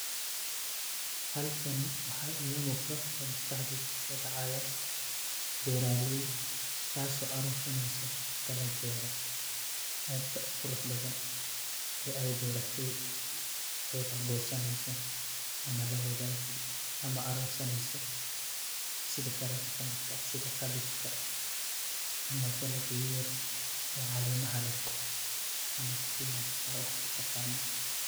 Halkan waxa iga muqda oo maskaxdeyda kuso dacaya beraley, taso urur sanesa ama lawadageso sidha karatka aad u qurux badan ama dalaga oo ama kabajka ama spinajka waxad u taqano.